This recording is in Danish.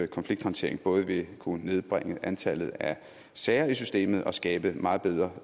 konflikthåndtering både vil kunne nedbringe antallet af sager i systemet og skabe meget bedre